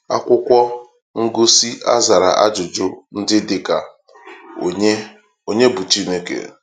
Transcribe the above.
Akwụkwọ ngosị a zara ajụjụ ndị dị ka: Onye Onye bụ Chineke?